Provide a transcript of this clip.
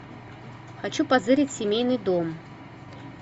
хочу позырить семейный дом